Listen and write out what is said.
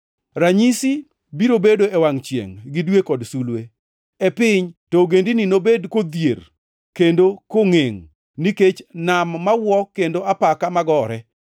“Ranyisi biro bedo e wangʼ chiengʼ gi dwe kod sulwe. E piny, to ogendini nobed kodhier kendo kongʼengʼ, nikech nam mawuo kendo apaka magore.